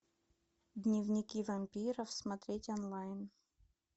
дневники вампиров смотреть онлайн